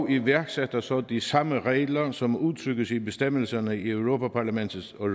iværksætter så de samme regler som udtrykkes i bestemmelserne i europa parlaments og